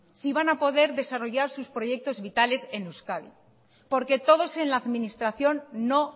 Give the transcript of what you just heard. si van a poder desarrollar sus proyectos vitales en euskadi porque todos en la administración no